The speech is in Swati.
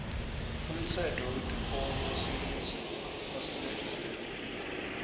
umtsetfo wetikolo waseningizimu